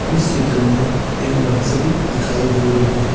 इस चित्र में एक नर्सरी दिखाई दे रही है।